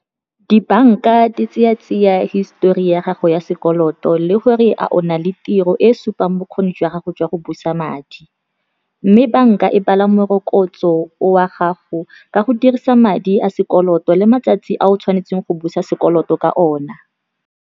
Dibanka di tseya tsiya histori ya gago ya sekoloto le gore a o na le tiro e supang bokgoni jwa gago jwa go busa madi, mme banka e bala morokotso o wa gago ka go dirisa madi a sekoloto le matsatsi a o tshwanetseng go busa sekoloto ka ona.